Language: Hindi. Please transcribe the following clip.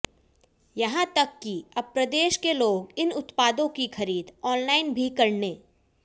यहां तक की अब प्रदेश के लोग इन उत्पादों की खरीद ऑनलाइन भी करने